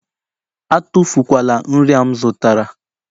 Atụfu kwala nri a m zụtara!